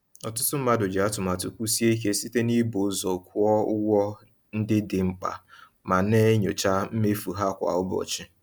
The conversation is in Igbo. Ọtụtụ mmadụ ji atụmatụ kwụsie ike site n’ịbụ ụzọ kwụọ ụgwọ ndị dị mkpa ma na-enyocha mmefu ha kwa ụbọchị.